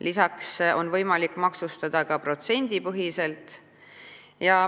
Lisaks on võimalik maksustada ka protsendipõhiselt.